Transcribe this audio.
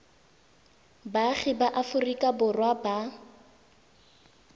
baagi ba aforika borwa ba